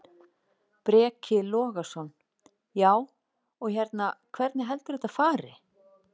Breki Logason: Já, og hérna, hvernig heldurðu að þetta fari?